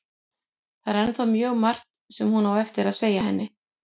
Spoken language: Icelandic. Það er ennþá mjög margt sem hún á eftir að segja henni.